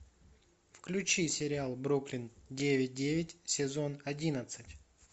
включи сериал бруклин девять девять сезон одиннадцать